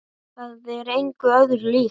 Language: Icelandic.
Það er engu öðru líkt.